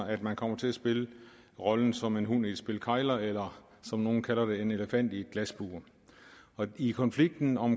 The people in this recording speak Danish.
at man kommer til at spille rollen som en hund i et spil kegler eller som nogle kalder det en elefant i et glasbur i konflikten om